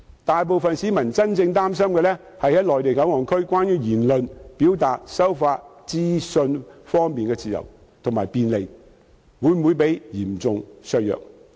大部分市民真正擔心的是在內地口岸區言論、表達和收發資訊的自由度及便利性會否被嚴重削弱。